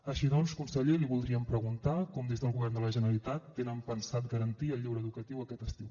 així doncs conseller li voldríem preguntar com des del govern de la generalitat tenen pensat garantir el lleure educatiu aquest estiu